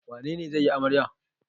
Wane ne zai yi amarya?